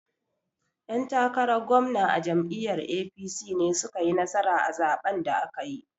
'Yan takaran gwamna a jam'iyyar APC ne su ka yi nasara a zaɓen da aka yi.